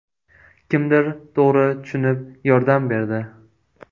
Kimdir to‘g‘ri tushunib yordam berdi.